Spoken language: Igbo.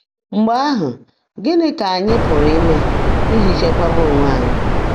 Mgbe ahụ, gịnị ka anyị pụrụ ime iji chekwaba onwe anyị?